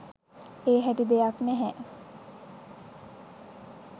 ඒ හැටි දෙයක් නැහැ.